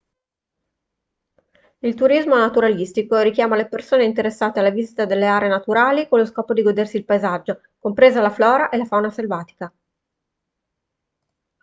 il turismo naturalistico richiama le persone interessate alla visita delle aree naturali con lo scopo di godersi il paesaggio compresa la flora e la fauna selvatica